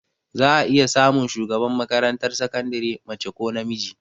Za a iya samun shugaban makarantar sakandire mace ko namiji